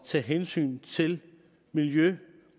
tage hensyn til miljø